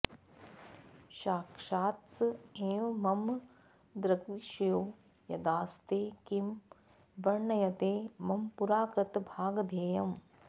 साक्षात्स एव मम दृग्विषयो यदास्ते किं वर्ण्यते मम पुराकृतभागधेयम्